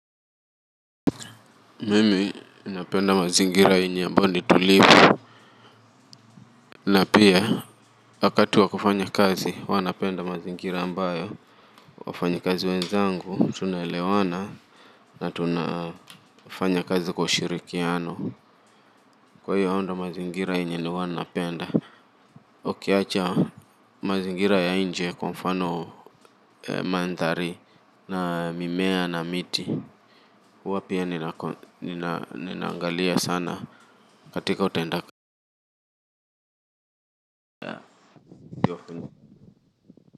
Mimi napenda mazingira yenye ambao ni tulivu na pia wakati wa kufanya kazi huwa napenda mazingira ambayo wafanyakazi wenzangu tunaelewana na tunafanya kazi kwa shirikiano kwa hiyo ndo mazingira yenye ni huwa napenda ukiacha mazingira ya nje kwa mfano mandhari na mimea na miti wapya ninaangalia sana katika utendaka kwa hivyo.